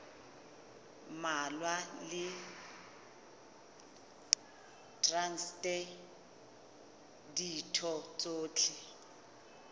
mmalwa le traste ditho tsohle